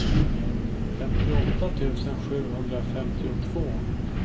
femtioåtta tusen sjuhundrafemtiotvå